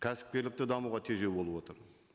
кәсіпкерлікті дамуға тежеу болып отыр